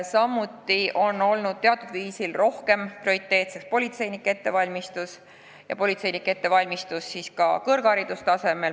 Samuti on teatud viisil prioriteediks rohkem olnud politseinike ettevalmistus ja seda ka kõrgharidustasemel.